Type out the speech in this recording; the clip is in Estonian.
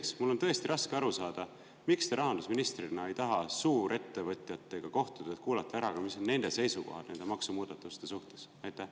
Teiseks, mul on tõesti raske aru saada, miks te rahandusministrina ei taha suurettevõtjatega kohtuda, et kuulata ka ära, mis on nende seisukohad nende maksumuudatuste suhtes?